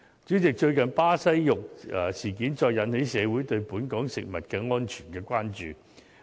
主席，最近巴西肉事件再次引起社會對本港食物安全的關注。